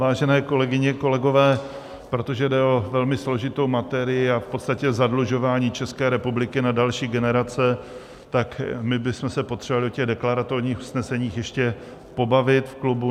Vážené kolegyně, kolegové, protože jde o velmi složitou materii a v podstatě zadlužování České republiky na další generace, tak my bychom se potřebovali o těch deklaratorních usneseních ještě pobavit v klubu.